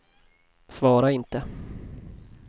svara inte